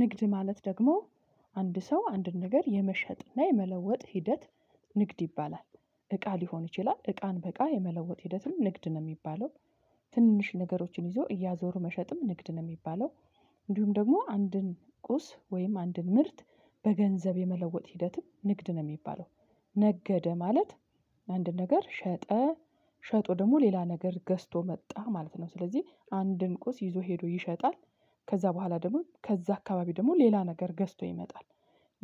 ንግድ ማለት ደግሞ አንድ ሰው አንድን ነገር የመሸጥና የመለወጥ ሂደት ንግድ ይባላል። እቃ ሊሆን ይችላል እቃን በእቃ የመለወጥ ሂደትም ንግድ ነው የሚባለው። ትንንሽ ነገሮችን ይዞ እያዞሩ መሸጥም ንግድ ነው የሚባለው። እንዲሁም ደግሞ አንድን ቁስ ወይም አንድን ምርት በገንዘብ የመለወጥ ሂደትም ንግድ ነው የሚባለው። ነገደ ማለት። አንድ ነገር ሸጠ ሸጦ ደግሞ ሌላ ነገር ገዝቶ መጣ ማለት ነው። ስለዚህ አንድን ቁስ ይዞ ሄዶ ይሸጣል። ከዛ በኋላ ደግሞ ከዛ አካባቢ ደግሞ ሌላ ነገር ገዝቶ ይመጣል።